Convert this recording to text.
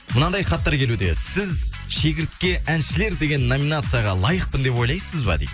мынандай хаттар келуде сіз шегіртке әншілер деген номинацияға лайықпын деп ойлайсыз ба дейді